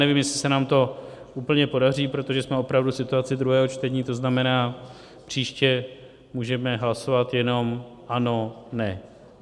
Nevím, jestli se nám to úplně podaří, protože jsme opravdu v situaci druhého čtení, to znamená, příště můžeme hlasovat jenom ano-ne.